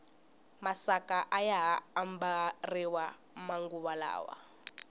masaka ayaha ambariwa manguva lawa